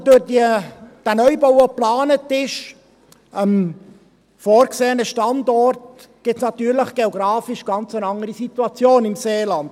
Aber durch diesen Neubau, der am vorgesehenen Standort geplant ist, gibt es natürlich geografisch eine ganz andere Situation im Seeland.